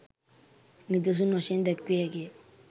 නිදසුන් වශයෙන් දැක්විය හැකිය.